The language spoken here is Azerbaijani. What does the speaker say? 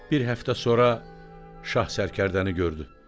Bir həftə sonra şah sərkərdəni gördü.